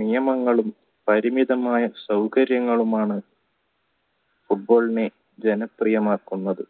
നിയമങ്ങളും പരിമിതമായ സൗകര്യങ്ങളുമാണ് football നെ ജനപ്രിയമാക്കുന്നത്